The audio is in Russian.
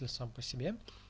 сам по себе